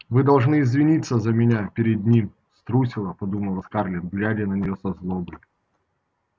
вы должны извиниться за меня перед ним струсила подумала скарлетт глядя на неё со злобой